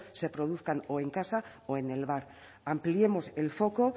se produzcan o en casa o en el bar ampliemos el foco